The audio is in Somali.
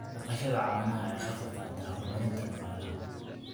Dhaqashada caanaha ayaa ka qayb qaadata horumarinta dhaqaalaha.